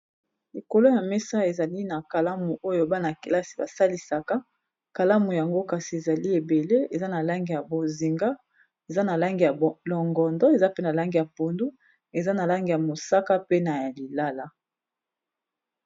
likolo ya mesa ezali na kalamu oyo bana-kelasi basalisaka kalamu yango kasi ezali ebele eza na langi ya bozinga eza na langi ya longondo eza pe na langi ya pundu eza na langi ya mosaka pe na ya lilala